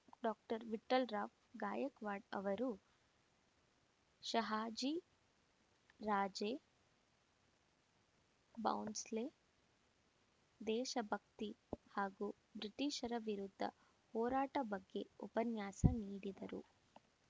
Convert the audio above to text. doctor Vithalrao Gaikwad ಅವರು ಶಹಾಜಿ ರಾಜೇ ಬೌಂಸ್ಲೆ ದೇಶ ಭಕ್ತಿ ಹಾಗೂ ಬ್ರಿಟೀಷರ ವಿರುದ್ಧ ಹೋರಾಟ ಬಗ್ಗೆ ಉಪನ್ಯಾಸ ನೀಡಿದರು